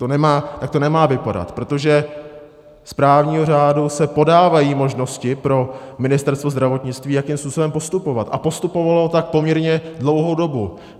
Tak to nemá vypadat, protože z právního řádu se podávají možnosti pro Ministerstvo zdravotnictví, jakým způsobem postupovat, a postupovalo tak poměrně dlouhou dobu.